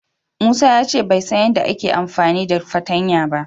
Musa ya ce bai san yadda zai yi amfani da fartanya ba.